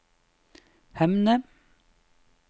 Hemne